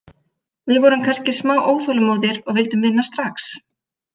Við vorum kannski smá óþolinmóðir og vildum vinna strax.